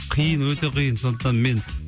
қиын өте қиын сондықтан мен